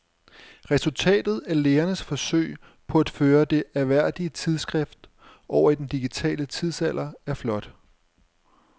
Resultatet af lægernes forsøg på at føre det ærværdige tidsskrift over i den digitale tidsalder er flot.